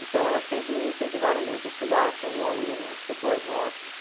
Então, elas sempre me incentivaram muito a estudar, ser um bom aluno, a ter boas notas.